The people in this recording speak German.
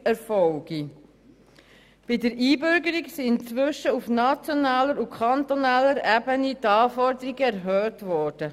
Die Anforderungen für die Einbürgerung sind inzwischen auf nationaler und auf kantonaler Ebene erhöht worden.